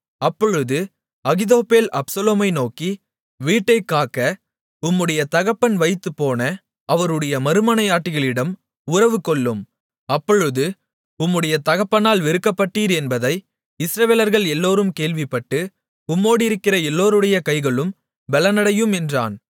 அப்பொழுது அகித்தோப்பேல் அப்சலோமை நோக்கி வீட்டைக்காக்க உம்முடைய தகப்பன் வைத்துப்போன அவருடைய மறுமனையாட்டிகளிடம் உறவுகொள்ளும் அப்பொழுது உம்முடைய தகப்பனால் வெறுக்கப்பட்டீர் என்பதை இஸ்ரவேலர்கள் எல்லோரும் கேள்விப்பட்டு உம்மோடிருக்கிற எல்லோருடைய கைகளும் பெலனடையும் என்றான்